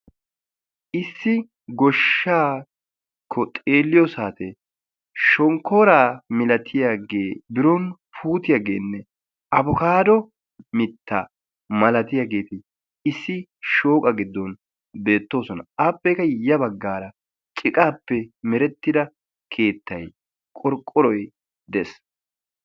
Issi goshshaakko xeelliyo saate shonkkoora milatiyaage biron puutiyaageenne abokaado mitta malatiyaageeti issi shooqa giddon beettoosona. Appekka ya baggaara ciqaappe merettida keettay qorqoroy des.